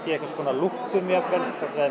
í einhvers konar lúppum jafnvel hvort við